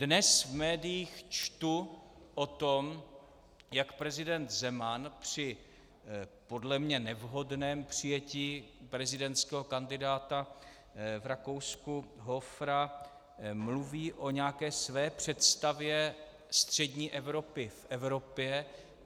Dnes v médiích čtu o tom, jak prezident Zeman při podle mě nevhodném přijetí prezidentského kandidáta v Rakousku Hofera mluví o nějaké své představě střední Evropy v Evropě.